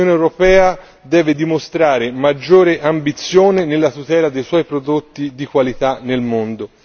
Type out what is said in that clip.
L'Unione europea deve dimostrare maggiore ambizione nella tutela dei suoi prodotti di qualità nel mondo.